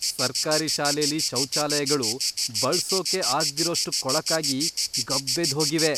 ಸರ್ಕಾರಿ ಶಾಲೆಲಿ ಶೌಚಾಲಯಗಳು ಬಳ್ಸೋಕೇ ಆಗ್ದಿರೋಷ್ಟು ಕೊಳಕಾಗಿ, ಗಬ್ಬೆದ್ದ್ಹೋಗಿವೆ.